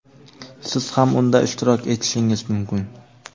siz ham unda ishtirok etishingiz mumkin.